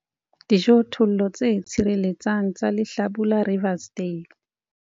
Dijothollo tse tshireletsang tsa lehlabula Riversdale.